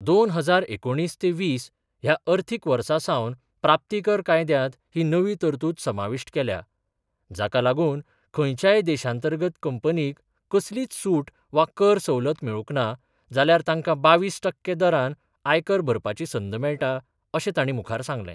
दोन हजार एकुणीस ते वीस ह्या अर्थिक वर्सासावन प्राप्तीकर कायद्यात ही नवी तरतूद समाविष्ट केल्या, जाकालागून खंयच्याय देशांतर्गत कंपनींक कसलीच सूट वा कर सवलत मेळुक ना, जाल्यार तांका बावीस टक्के दरान आयकर भरपाची संद मेळटा, अशे ताणी मुखार सांगले.